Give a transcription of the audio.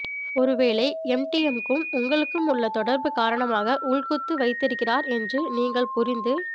ஒரு வேளை எம்டிஎம்முக்கும் உங்களுக்கும் உள்ள தொடர்புகாரணமாக உள்குத்து வைத்திருக்கிறார் என்று நீங்கள் புரிந்து